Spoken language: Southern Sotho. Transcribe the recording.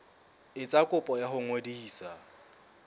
etsa kopo ya ho ngodisa